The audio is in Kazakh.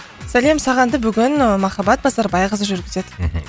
сәлем сағанды бүгін і махаббат базарбайқызы жүргізеді мхм